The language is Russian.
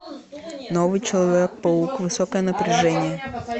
новый человек паук высокое напряжение